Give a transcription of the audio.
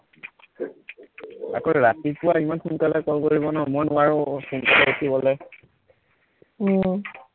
আকৌ ৰাতিপুৱা ইমান সোনকালে call কৰিব ন মই নোৱাৰো সোনকালে উঠিবলে আহ